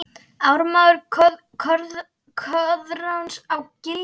Ármaður Koðráns á Giljá